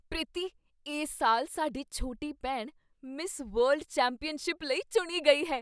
ਪ੍ਰੀਤੀ! ਇਸ ਸਾਲ ਸਾਡੀ ਛੋਟੀ ਭੈਣ ਮਿਸ ਵਰਲਡ ਚੈਂਪੀਅਨਸ਼ਿਪ ਲਈ ਚੁਣੀ ਗਈ ਹੈ!